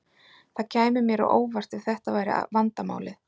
Það kæmi mér á óvart ef þetta væri vandamálið.